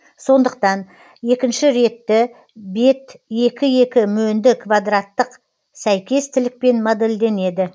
сондықтан екінші ретті бет екі екі мөнді квадраттық сәйкес тілікпен модельденеді